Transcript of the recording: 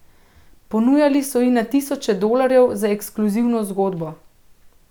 Ponujali so ji na tisoče dolarjev za ekskluzivno zgodbo.